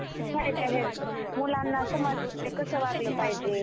खूप फायदे आहेत. मुलांना समजते, कसं वागलं पाहिजे.